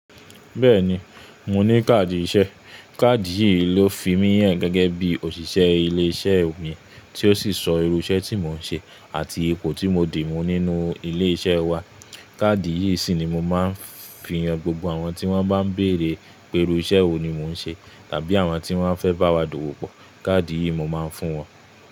Bẹ́ẹ̀ni, mo ní káàdì iṣẹ́. Káàdì yìí ló fi mí yàn gẹ́gẹ́ bí òṣìṣẹ́ ilé iṣẹ́ mi, tí ó sì sọ irú iṣẹ́ tí mò ń ṣe àti ipò tí mo dì mú nínú ilé iṣẹ́ wa. Káàdì yìí sì ni mo máa ń fi yàn gbogbo àwọn tí wọ́n bá ń bèrè pé irú iṣẹ́ wo ni mò ń ṣe tàbí àwọn tí wọ́n fẹ́ bá wa dòwò pọ̀, káàdì yìí mo máa ń fún wọn.